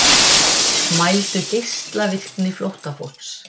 Mældu geislavirkni flóttafólks